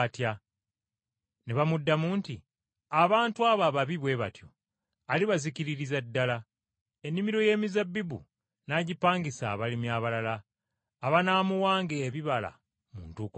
Ne bamuddamu nti, “Abantu abo ababi bwe batyo alibazikiririza ddala, ennimiro y’emizabbibu n’agipangisa abalimi abalala abanaamuwanga ebibala mu ntuuko zaabyo.”